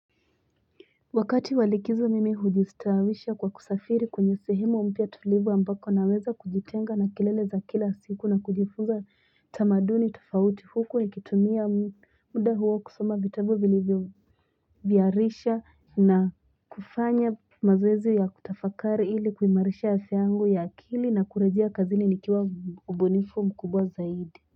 Wakati walikizo mimi hujistawisha kwa kusafiri kwenye sehemu umpia tulivu ambako naweza kujitenga na kilele za kila siku na kujifuza tamaduni tufauti huko nikitumia muda huwa kusoma vitabu bilivyo vyarisha na kufanya mazwezi ya kutafakari ili kuimarisha ya seangu ya akili na kurejia kazini nikiwa ubonifu mkubwa zaidi.